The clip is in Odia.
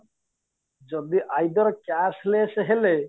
ଯଦି either cash less ହେଲେ